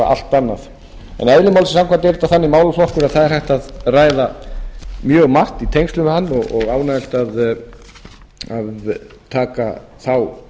eðli málsins samkvæmt er þetta þannig málaflokkur að það er hægt að ræða mjög margt í tengslum við hann og ánægjulegt að taka þá